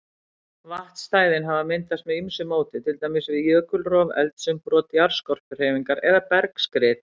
Vatnsstæðin hafa myndast með ýmsu móti, til dæmis við jökulrof, eldsumbrot, jarðskorpuhreyfingar eða bergskrið.